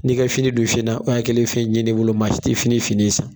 Ni ka fini dun finan o ye a kɛlen ye fɛn ɲɛnɛwoloman ye, maa si tɛ fini finɛ san.